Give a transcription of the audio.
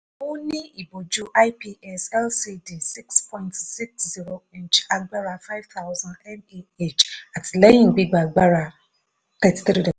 ó ní ìbojú ips lcd six point six zero inch agbára five thousand mph àtìlẹyìn gbigba agbára thirty-three